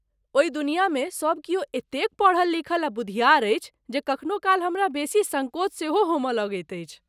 ओहि दुनियामे सब किओ एतेक पढ़ल लिखल आ बुधियार अछि जे कखनो काल हमरा बेसी सङ्कोच सेहो होमय लगैत अछि।